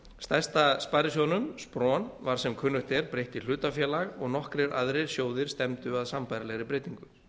stærsta sparisjóðnum spron var sem kunnugt er breytt í hlutafélag og nokkrir aðrir sjóðir stefndu að sambærilegri breytingu